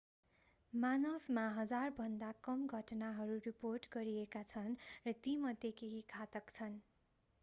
मानवमा हजारभन्दा कम घटनाहरू रिपोर्ट गरिएका छन् र तीमध्ये केही घातक छन्